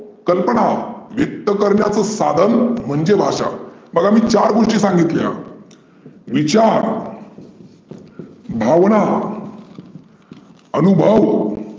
कल्पना व्यक्त करण्याचं साधन म्हणजे भाषा. बघा मी चार घोष्टी सांगितल्या विचार भावना अनुभव